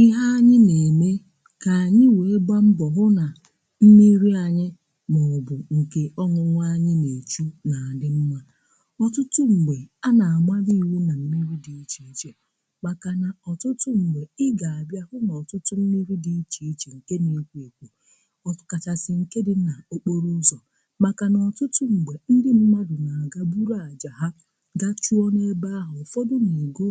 ihe anyị na-eme ka anyị wee gbaa mbọ hụ na mmiri anyị maọbụ nke ọṅụṅụ anyị na-echu na dị mma ọtụtụ mgbe a na amalu iwụ na mmiri dị iche iche maka na ọtụtụ mgbe ị ga-abịa hụ n’ọtụtụ mmiri dị iche iche nke na-ekwo ekwo ọtụ kachasị nke dị n’okporo ụzọ maka nà ọtụtụ mgbe ndị mmadụ na-agagboro ajaghà gachuọ na-ebe ahụ ụfọdụ na-ego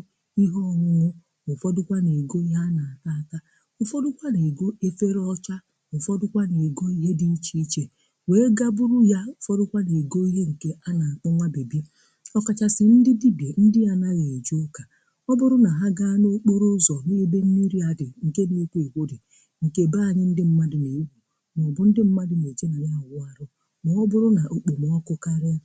ụfọdụkwa na-egoo ifere ọcha ụfọdụkwa na-egoo ihe dị iche iche wee ga bụrụ ya ụfọdụkwa na-egoo ihe nke a na-anụnwa bịbị ọkachasị ndị dibịa ndị anaghị eje ụka ọ bụrụ na ha gaa n’okporo ụzọ hụ ebe mmiri a dị nke n’ekwo ekwo dị nke beanyị ndị mmadụ na-egwu na ọ bụ ndị mmadụ na-eje nà na-awụ arụ ma ọ bụrụ na okpomọkụ karịa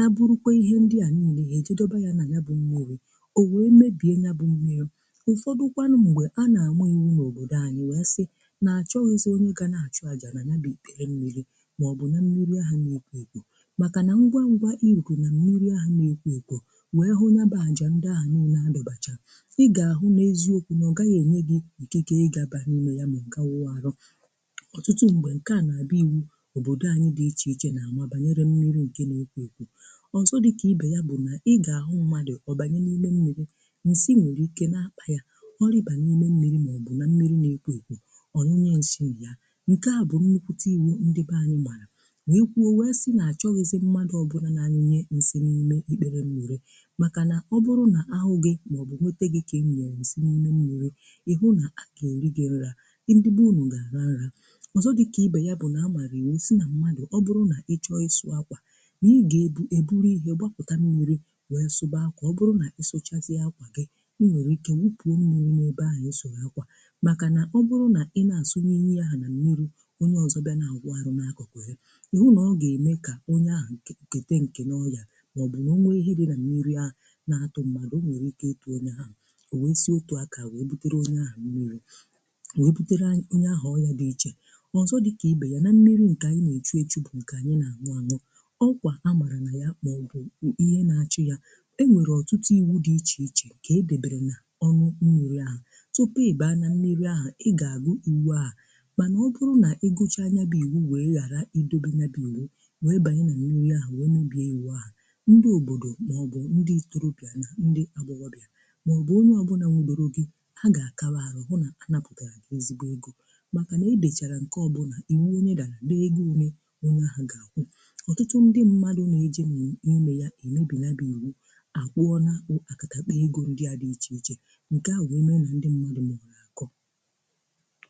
a bụrụkwa ihe ndị à niile ihe ejidọba yȧ na nyȧ bụ mmiri o wee mebie nyȧ bụ mmiri ụfọdụkwanụ mgbe a na-ama iwu n’òbodò anyị wee sị na-achọghịzị onye ga na-achọ aja na na-abịghi mmiri maọbụ na mmiri ahụ na-ekpo ekpo maka na ngwa ngwa iruku na mmiri ahụ na-ekpo ekpo wee hụ naba aja ndị ahụ niile abachaa ị ga-ahụ n’eziokwu na ọ gaghị enye gị ike ige ịgaba n’ime ya ma ǹka wụ arọ ọtụtụ mgbe nke a na-abị iwu òbodò anyị dị iche iche na-ama banyere mmiri ike na-ekpo ekpo ọzọ dị ka ibe ya bụ na ị ga-ahụ mmadụ ọbanye n’ime mmiri, nsị nwere ike n'akpa ya, ọ̀rịba n'ime mmiri maọ̀bụ na mmiri n'ekwo ekwo ọnyinye ǹshì na yà ǹke à bụ̀ nnukwùtà iwu ndị be ànyị màrà nà-ekwu o wee si nà-àchọghịzị mmadụ̀ ọbụ̀là na-anyịnye ǹsị n'imè ikpere mmiri màkà nà ọbụrụ nà ahụ̀ gị màọ̀bụ̀ nwete gị̇ ka nyunyèrè ǹsị n'imè mmiri ị hụ nà àga erigè nrȧ ndị be unu gà-àra nrȧ ọzọ dịkà ibè ya bụ̀ nà amàrị̀ iwu si nà mmadụ̀ ọbụrụ nà ị chọọ isu̇ akwà nà ị gà eburu ihe gbapụ̀ta mmiri wee suba akwa ọ bụrụ nà ị sụchazịa akwà gị, ị nwere ike wụfuo mmiri n'ebe ahu isụrụ akwa makà na ọ bụrụ nà ị na-asụnye ihe ahụ na mmiri onye ọzọ bịà n’àwụ arụ̇ n’akụkụ ya, ihụ nà ọ ga-eme kà onye ahụ kète nke n’ọya maọbụ̀ nà ọ nwee ihe dị nà mmiri ahụ na-atụ mmadụ̀, o nwere ike ịtụ onye ahụ o wee si otù akà wee butere onye ahụ mmiri wee butere onye ahụ ọnyà dị ichè ọzọ dịkà ibe yà nà mmiri ǹkè anyị na-echu echu bụ̀ ǹkè a na anụ anụ okwà ha marà nà ya mọ̀bụ̀ ihe na-achị yà e nwèrè ọtụtụ iwu dị ichè ichè kà e debere nà ọnụ mmughe ala, tupu ị baa na mmiri ahu ị ga agụ iwu ahụ ọbụrụ na i gụcha ya bụ iwu wee ghara idobe na bụ iwu wee banyị na niile ahụ wee n’ubi ewe ahụ ndị obodo maọbụ ndị torọbịa na ndị agbọghọbịa maọbụ onye ọbụlà nwudere gị a ga-akawa-ahụ hụ na anapụtara ezigbo ego maka na e dechara nke ọbụna iwu onye da lee ego ole n’onye ahụ ga-akwụ ọtụtụ ndị mmadụ na-eje n’ime ya emebi ya bụ iwu akwụ ọna akatakpa ego ndị a dị iche iche ǹkẹ̀ ahụ bụ ndị mmadụ maara akọ